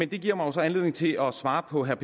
det giver mig så anledning til at svare på herre